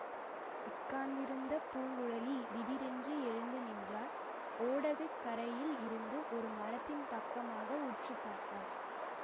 உட்கார்ந்திருந்த பூங்குழலி திடீரென்று எழுந்து நின்றாள் ஓடை கரையில் இருந்த ஒரு மரத்தின் பக்கமாக உற்று பார்த்தாள்